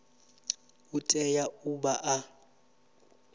u tea u vha a